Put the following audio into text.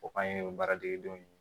O k'an ye baara degedenw